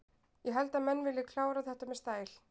Ég held að menn vilji klára þetta með stæl.